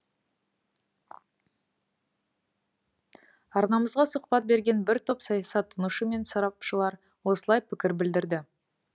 арнамызға сұхбат берген бір топ саясаттанушы мен сарапшылар осылай пікір білдірді